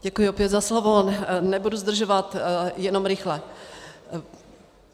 Děkuji opět za slovo, nebudu zdržovat, jenom rychle.